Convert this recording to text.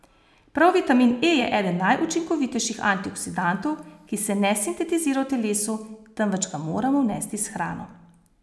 Prav vitamin E je eden najučinkovitejših antioksidantov, ki se ne sintetizira v telesu, temveč ga moramo vnesti s hrano.